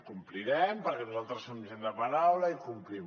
complirem perquè nosaltres som gent de paraula i complim